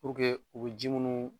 u bɛ ji minnu